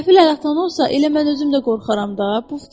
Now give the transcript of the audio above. Qəfildən atından olsa, elə mən özüm də qorxaram da.